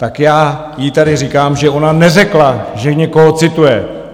Tak já jí tady říkám, že ona neřekla, že někoho cituje!